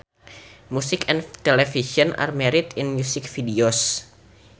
Music and television are married in music videos